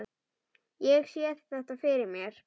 Ég sé þetta fyrir mér.